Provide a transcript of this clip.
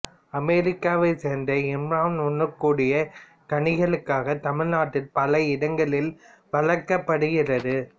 அமெரிக்காவைச்சேர்ந்த இம்மரம் உண்ணக்கூடிய கனிகளுக்காக தமிழ்நாட்டில் பல இடங்களில் வளர்க்கப்படுகிறது